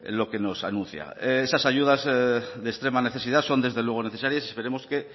lo que nos anuncia esas ayudas de extrema necesidad son desde luego necesarias y esperemos que